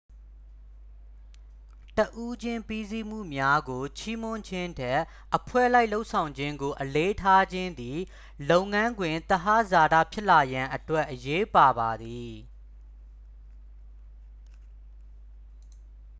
တစ်ဦးချင်းပြီးစီမှုများကို ချီးမွမ်းခြင်းထက် အဖွဲ့လိုက်လုပ်ဆောင်ခြင်းကို အလေးထားခြင်းသည် လုပ်ငန်းခွင်သဟဇာတာဖြစ်လာရန်အတွက် အရေးပါပါသည်